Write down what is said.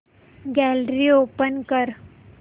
gallery open कर